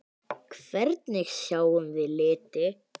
Hvernig sjáum við liti?